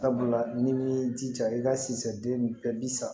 Sabula ni jija i ka sisɛ den bɛɛ bi sa